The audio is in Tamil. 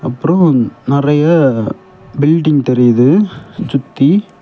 அப்ரோ நெறைய பில்டிங் தெரயுது சுத்தி.